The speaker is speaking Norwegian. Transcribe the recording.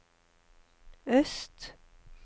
øst